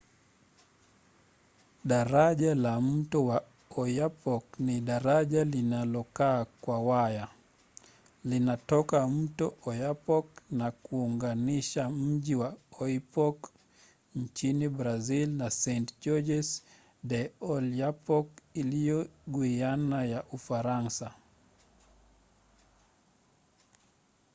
daraja la mto wa oyapock ni daraja lililokaa kwa waya. linatoka mto oyapock na kuunganisha miji ya oiapoque nchini brazil na saint-georges de i’oyapock iliyo guiana ya ufaransa